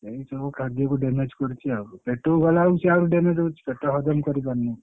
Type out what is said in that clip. ଏମତି ସବୁ ଖାଦ୍ୟକୁ damage କରିଛି ଆଉ ପେଟକୁ ଗଲା ବେଳକୁ ସିଏ ଆହୁରି damage ହଉଛି ପେଟ ହଜମ କରିପାରୁନି।